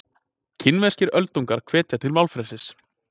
Kínverskir öldungar hvetja til málfrelsis